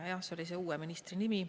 Jah, selline on see uue ministri nimi.